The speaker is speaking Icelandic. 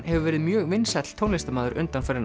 hefur verið mjög vinsæll tónlistarmaður undanfarin